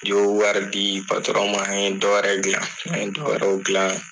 I bɛ wari di patɔrɔn ma ni ye dɔ wɛrɛ glan, nin ye dɔ wɛrɛw glan.